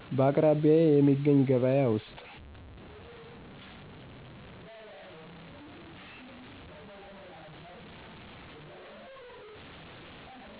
በአቅራቢያዬ የሚገኝ ገበያ ውስጥ